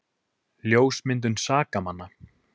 Ljósmyndun sakamanna